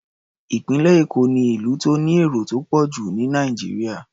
Ìpínlẹ̀ Èkó ni ìlú tó ní èrò tó pọ̀ jù ní Nàìjíríà.